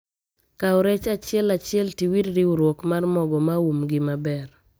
Kau rech achiel achiel tiwir riurwok mar mogo maum gi maber